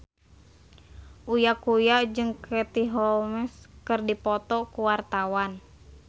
Uya Kuya jeung Katie Holmes keur dipoto ku wartawan